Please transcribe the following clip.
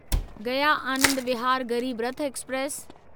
Gaya Anand Vihar Garib Rath express